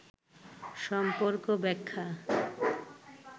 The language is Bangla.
সম্পর্ক ব্যাখ্যা